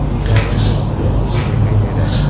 ए जगह जो प्लेन से देखाई दे रहा है।